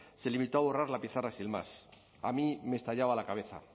se limitó a borrar la pizarra sin más a mí me estallaba la cabeza